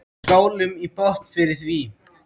Við skálum í botn fyrir því.